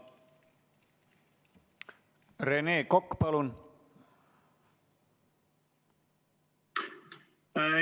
Rene Kokk, palun!